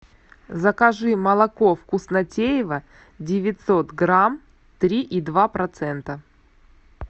закажи молоко вкуснотеево девятьсот грамм три и два процента